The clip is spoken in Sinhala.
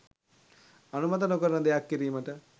අනුමත නොකරන දෙයක් කිරීමට